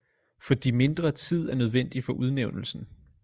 Fordi mindre tid er nødvendig for udnævnelsen